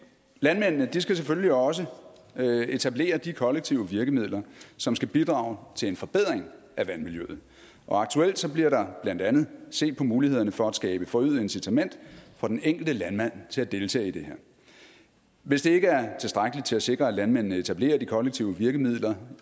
landmændene skal selvfølgelig også etablere de kollektive virkemidler som skal bidrage til en forbedring af vandmiljøet faktuelt bliver der blandt andet set på mulighederne for at skabe forøget incitament for den enkelte landmand til at deltage i det her hvis det ikke er tilstrækkeligt til at sikre at landmændene frivilligt etablerer de kollektive virkemidler